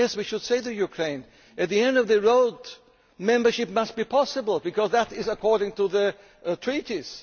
Yes, we should say to Ukraine at the end of the road, membership must be possible because that is according to the Treaties.